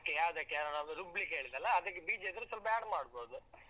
Okay ಯಾವ್ದಕ್ಕೆ ಅಹ್ ನಾನ್ ಅದು ರುಬ್ಲಿಕ್ಕೆ. ಹೇಳಿದೆ ಅಲ್ವಾ ಅದಕ್ಕೆ ಬೀಜ ಇದ್ರೆ ಸ್ವಲ್ಪ add ಮಾಡ್ಬೋದು.